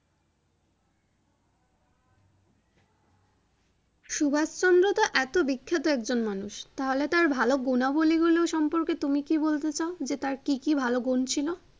সুভাষ চন্দ্রতো এতো বিখ্যাত একজন মানুষ তাহলে তার গুনাবলি গুলো সম্পর্কে তুমি কি বলতে চাও যে তার কি কি ভালো গুন ছিলো ।